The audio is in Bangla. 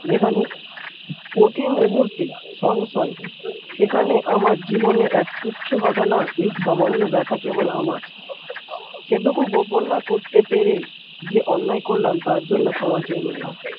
যেখানে প্রতি মুহূর্তে সংশয় সেখানে আমার জীবনে এক তুচ্ছ ঘটনা এই সামান্য ব্যাথা কেবল আমার সেটুকু করতে না পেরে যে অন্যায় করলাম তার জন্য ক্ষমা চেয়ে নিলাম।